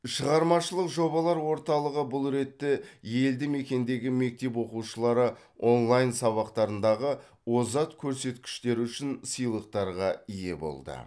шығармашылық жобалар орталығы бұл ретте елді мекендегі мектеп оқушылары онлайн сабақтарындағы озат көрсеткіштері үшін сыйлықтарға ие болды